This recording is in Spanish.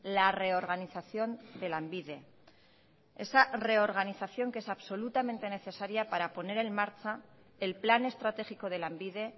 la reorganización de lanbide esa reorganización que es absolutamente necesaria para poner en marcha el plan estratégico de lanbide